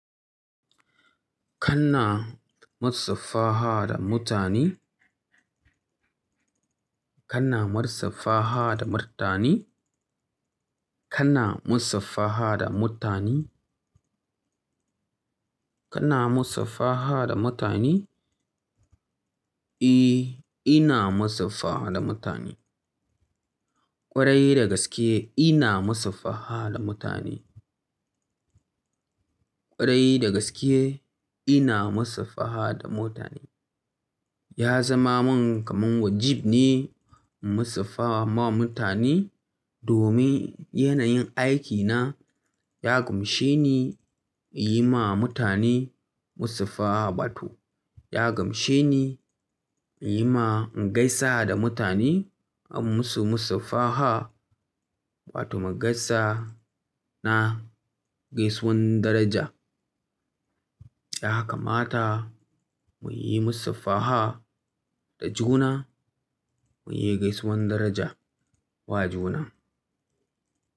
Kana musafaha da mutane? Kana musafaha da mutane? Kana musafaha da mutane? Kana musafaha da mutane? E, ina musafaha da mutane. Kwarai da gaske ina musafaha da mutane. Kwarai da gaske ina musafaha da mutane. Ya zama min kamar wajibi ne in musafaha ma mutane domin yanayin aikina ya gamshe ni in yi ma mutane musafaha, batu. Ya gamshe ni in yi ma ingaisa da mutane in musu musafaha, watu magaisa na gaisuwan daraja. Haka ma ta muyi musafaha da juna muyi gaisuwan daraja wa juna.